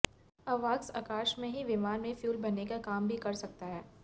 अवॉक्स आकाश में ही विमान में फ्यूल भरने का काम भी कर सकता है